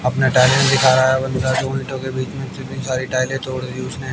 अपना टैलेंट दिखा रहा है बंदा जो उल्टो के बिच में कितनी सारी टाइल्स तोड़ दी उसने--